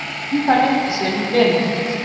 Um það leyti sem Benedikt